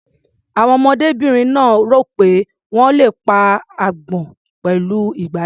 Àwọn ọmọdébìnrin náà rò pé wọ́n le pa agbọ́n pẹ̀lú ìgbálẹ̀.